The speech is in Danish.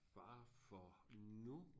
Fare for nu